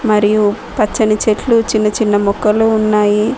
మరియు పచ్చని చెట్లు చిన్న చిన్న మొక్కలు ఉన్నాయి.